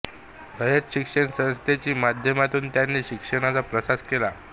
रयत शिक्षण संस्थेच्या माध्यमातून त्यांनी शिक्षणाचा प्रसार केला